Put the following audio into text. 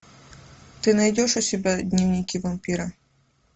ты найдешь у себя дневники вампира